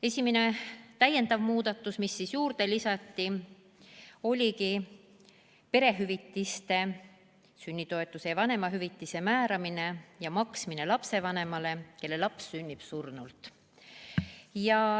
Esimene täiendav muudatus, mis juurde lisati, oligi perehüvitiste, sünnitoetuse ja vanemahüvitise määramine ja maksmine lapsevanemale, kelle laps sünnib surnult.